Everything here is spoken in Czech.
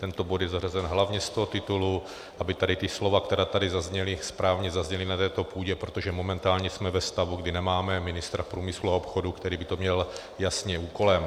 Tento bod je zařazen hlavně z toho titulu, aby tady ta slova, která tady zazněla, správně zazněla na této půdě, protože momentálně jsme ve stavu, kdy nemáme ministra průmyslu a obchodu, který by to měl jasně úkolem.